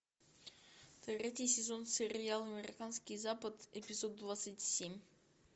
третий сезон сериал американский запад эпизод двадцать семь